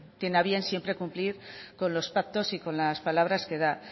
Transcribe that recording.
tiene a bien siempre cumplir con los pactos y con las palabras que da